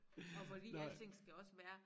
Og fordi alting skal også være